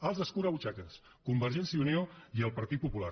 els escurabutxaques convergència i unió i el partit popular